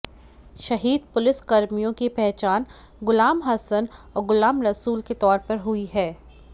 शहीद पुलिसकर्मियों की पहचान गुलाम हसन और गुलाम रसूल के तौर पर हुई है